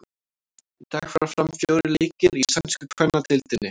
Í dag fara fram fjórir leikir í sænsku kvennadeildinni.